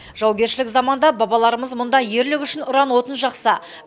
жаугершілік заманда бабаларымыз мұнда ерлік үшін ұран отын жақса